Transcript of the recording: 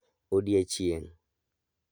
Odiechieng'